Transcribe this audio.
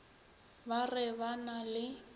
ba re ba na le